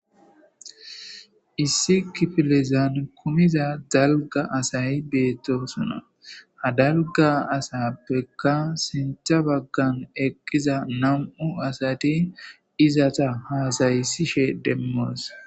issi kifilezaan kumiza dalga asay beettosona ha dalga asappekka sintha baggan eqqiza nam7u asati izata haasayisishe demmoos